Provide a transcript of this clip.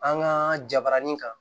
An ka jabaranin kan